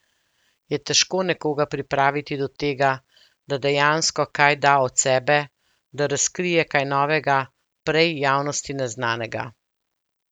Je težko nekoga pripraviti do tega, da dejansko kaj da od sebe, da razkrije kaj novega, prej javnosti neznanega?